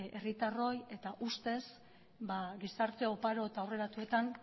herritarroi eta ustez gizarte oparo eta aurreratuetan